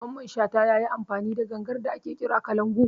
Mamman Shata yayi amfani da gangar da ake kira kalangu